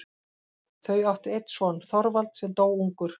Þau áttu einn son, Þorvald, sem dó ungur.